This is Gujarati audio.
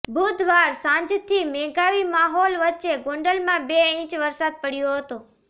બુધવાર સાંજથી મેઘાવી માહોલ વચ્ચે ગોંડલમાં બે ઇંચ વરસાદ પડ્યો હતો